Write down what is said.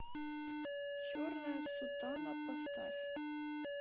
черная сутана поставь